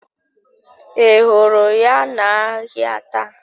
Ị hụrụ ya n'ahịa taa?